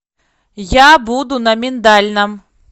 я буду на миндальном